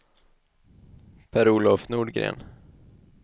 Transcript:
Per-Olof Nordgren